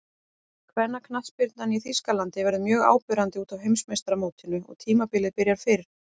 Kvennaknattspyrnan í Þýskalandi verður mjög áberandi útaf Heimsmeistaramótinu og tímabilið byrjar fyrr.